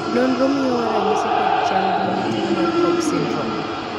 nonro miyowa ranyisi kod chal gi ne tuo mar cobb syndrome